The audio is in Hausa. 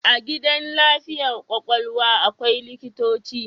A gidan lafiyar kwakwalwa akwai likitoci